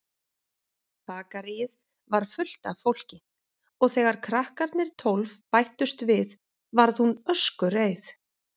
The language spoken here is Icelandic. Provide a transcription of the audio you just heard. Bakaríið var fullt af fólki og þegar krakkarnir tólf bættust við varð hún öskureið.